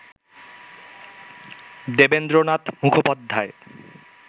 Devendra Nath Mukhopadhyay